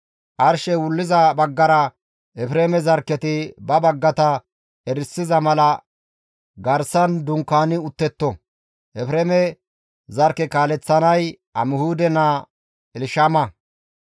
Arshey wulliza baggara Efreeme zarkketi ba baggata erisiza mala garsan dunkaani uttetto; Efreeme zarkke kaaleththanay Amihuude naa Elshama.